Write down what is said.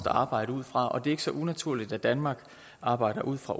at arbejde ud fra og det er ikke så unaturligt at danmark arbejder ud fra